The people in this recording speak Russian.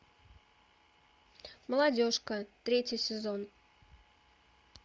молодежка третий сезон